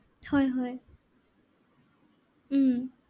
হয় হয় উম